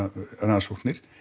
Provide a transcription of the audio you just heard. rannsóknir